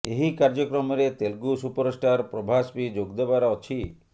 ଏହି କାର୍ଯ୍ୟକ୍ରମରେ ତେଲୁଗୁ ସୁପରଷ୍ଟାର୍ ପ୍ରଭାସ ବି ଯୋଗଦେବାର ଅଛି